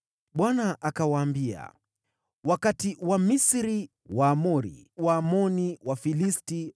Bwana akawaambia, “Wakati Wamisri, Waamori, Waamoni, Wafilisti,